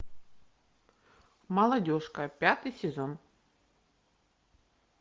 молодежка пятый сезон